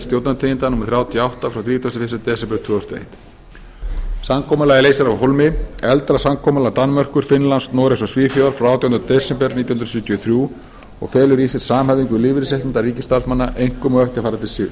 stjórnartíðinda númer þrjátíu og átta frá þrítugasta og fyrsta desember tvö þúsund og eitt samkomulagið leysir af hólmi eldra samkomulag danmerkur finnlands noregs og svíþjóðar frá átjánda desember nítján hundruð sjötíu og þrjú og felur í sér samhæfingu lífeyrisréttinda ríkisstarfsmanna einkum á eftirfarandi